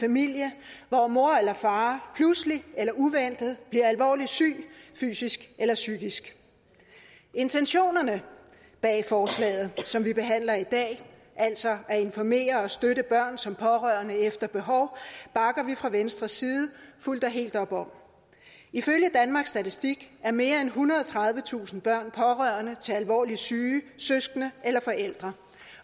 familie hvor mor eller far pludseligt eller uventet bliver alvorligt syg fysisk eller psykisk intentionerne bag forslaget som vi behandler i dag altså at informere og støtte børn som pårørende efter behov bakker vi fra venstres side fuldt og helt op om ifølge danmarks statistik er mere end ethundrede og tredivetusind børn pårørende til alvorligt syge søskende eller forældre